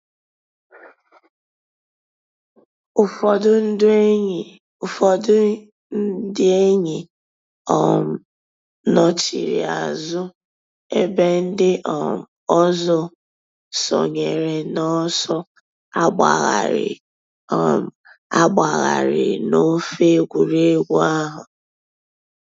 Ụ́fọ̀dù ńdí èn̄yì Ụ́fọ̀dù ńdí èn̄yì um nọ̀chiri àzụ̀ èbè ńdí um òzò sọǹyèrè n'ọ̀sọ̀ àgbàghàrì um àgbàghàrì n'òfè ègwè́régwụ̀ àhụ̀.